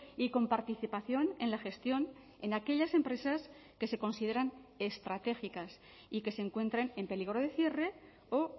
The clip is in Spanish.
y con participación en la gestión en aquellas empresas que se consideran estratégicas y que se encuentren en peligro de cierre o